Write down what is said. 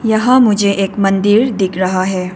यहां मुझे एक मंदिर दिख रहा है।